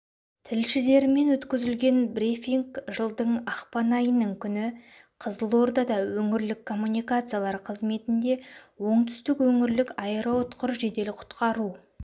тілшілерімен өткізілген брифинг жылдың ақпан айының күні қызылордада өңірлік коммуникациялар қызметінде оңтүстік өңірлік аэроұтқыр жедел құтқару